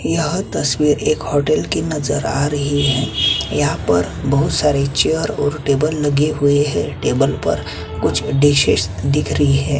यह तस्वीर एक होटल की नज़र आ रही है यहाँ पर बहुत सारे चेयर और टेबल लगे हुए हैं टेबल पर कुछ डिशेस दिख रही है।